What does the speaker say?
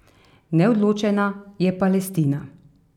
Neodločena je Palestina.